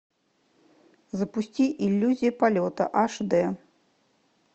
запусти иллюзия полета аш д